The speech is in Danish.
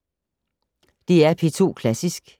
DR P2 Klassisk